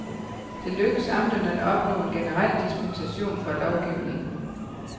Det lykkedes amterne at opnå en generel dispensation fra lovgivningen.